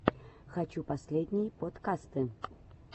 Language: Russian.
хочу последние подкасты